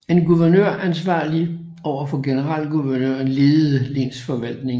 En guvernør ansvarlig over for generalguvernøren ledede lensforvaltningen